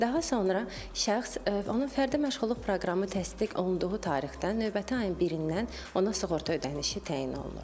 Daha sonra şəxs onun fərdi məşğulluq proqramı təsdiq olunduğu tarixdən növbəti ayın birindən ona sığorta ödənişi təyin olunur.